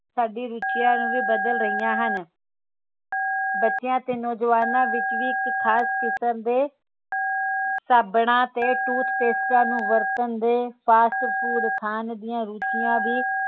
ਸਾਡੀ ਰੁਚੀਆਂ ਨੂੰ ਵੀ ਬਦਲ ਰਹੀਆਂ ਹਨ ਬਚਿਆ ਤੇ ਨੌਜਵਾਨਾਂ ਵਿਚ ਵੀ ਇੱਕ ਖਾਸ ਕਿਸਮ ਦੇ ਸਾਬਣ ਤੇ toothpaste ਨੂੰ ਵਰਤਣ ਦੇ fast food ਖਾਣ ਦੀਆ ਰੁਚੀਆਂ ਵੀ